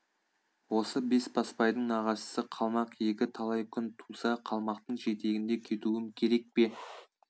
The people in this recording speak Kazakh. осы бесбасбайдың нағашысы қалмақ екі талай күн туса қалмақтың жетегінде кетуім керек пе